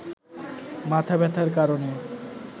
মাথাব্যথার কারণে